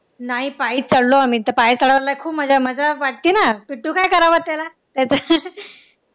नाही पायी चढलो आम्ही पायी चढायला खूप मज्जा वाटते ना तू काय करावं त्याला त्याच